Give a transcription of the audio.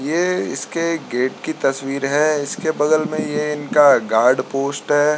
ये इसके गेट की तस्वीर है इसके बगल में ये इनका गार्ड-पोस्ट है।